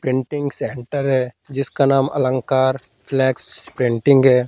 printing centre है जिसका नाम अलंकार फ्लेक्स प्रिंटिंग --